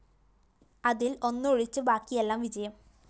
അതില്‍ ഒന്നൊഴിച്ച് ബാക്കിയെല്ലാം വിജയം